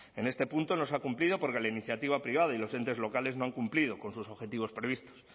en este punto no se ha cumplido porque la iniciativa privada y los entes locales no han cumplido con sus objetivos previstos